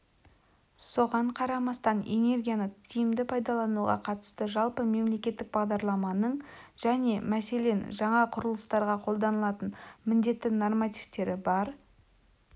соған қарамастан энергияны тиімді пайдалануға қатысты жалпы мемлекеттік бағдарламаның және мәселен жаңа құрылыстарға қолданылатын міндетті нормативтері бар